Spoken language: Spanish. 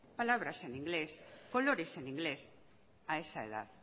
palabras en inglés colores en inglés a esa edad